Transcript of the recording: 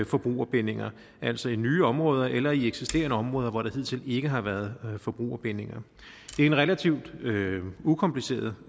forbrugerbindinger altså i nye områder eller i eksisterende områder hvor der hidtil ikke har været forbrugerbindinger det er en relativt ukompliceret